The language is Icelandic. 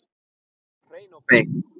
Hún var hrein og bein.